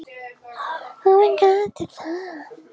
Höfðu trúlega bara verið að plata hann.